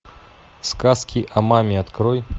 сказки о маме открой